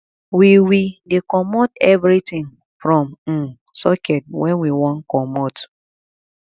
we we dey comot everytin from um socket wen we wan comot